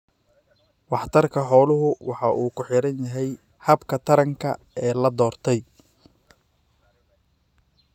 Waxtarka xooluhu waxa uu ku xidhan yahay habka taranka ee la doortay.